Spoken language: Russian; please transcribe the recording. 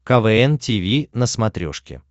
квн тиви на смотрешке